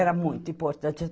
Era muito importante.